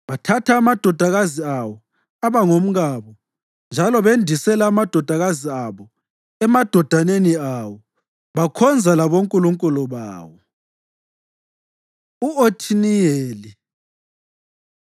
Bathatha amadodakazi awo aba ngomkabo njalo bendisela amadodakazi abo emadodaneni awo, bakhonza labonkulunkulu bawo. U-Othiniyeli